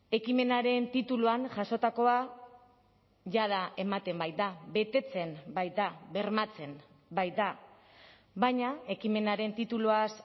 ekimenaren tituluan jasotakoa jada ematen baita betetzen baita bermatzen baita baina ekimenaren tituluaz